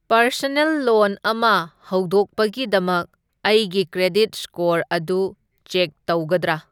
Personal loan ꯑꯃ ꯍꯧꯗꯣꯛꯄꯒꯤꯗꯃꯛ ꯑꯩꯒꯤ ꯀ꯭ꯔꯦꯗꯤꯠ ꯁ꯭ꯀꯣꯔ ꯑꯗꯨ ꯆꯦꯛ ꯇꯧꯒꯗ꯭ꯔꯥ?